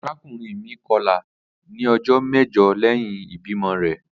Arakunrin mi kọla ni ijọ mẹjọ lẹhin ibimọ rẹ.